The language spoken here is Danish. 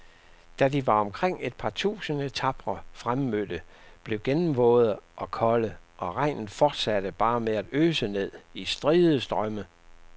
Da var de omkring et par tusinde tapre fremmødte blevet gennemvåde og kolde, og regnen fortsatte bare med at øse ned i stride strømme.